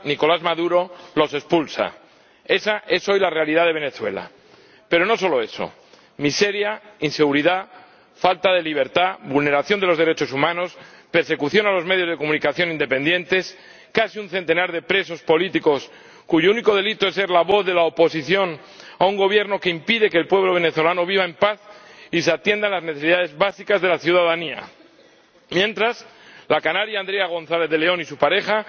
Señor Presidente, mientras Europa abre sus fronteras a los refugiados, en Venezuela, Nicolás Maduro los expulsa. Esa es hoy la realidad de Venezuela. Pero no solo eso miseria, inseguridad, falta de libertad, vulneración de los derechos humanos y persecución de los medios de comunicación independientes. Casi un centenar de presos políticos cuyo único delito es ser la voz de la oposición a un Gobierno que impide que el pueblo venezolano viva en paz y se atiendan las necesidades básicas de la ciudadanía. Mientras, la canaria Andrea González de León y su pareja